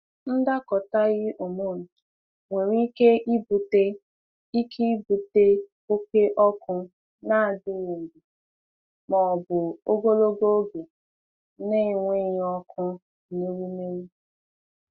Ndakọtaghị hormone nwere ike ibute ike ibute oke ọkụ na-adịghị mgbe, ma ọ bụ ogologo oge na-enweghị ọkụ n’ewumewụ.